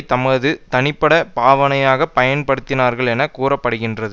தமது தனிப்பட்ட பாவனைக்காக பயன்படுத்தினார்கள் என கூற படுகின்றது